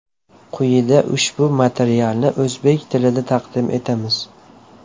Quyida ushbu materialni o‘zbek tilida taqdim etamiz.